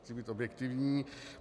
Chci být objektivní.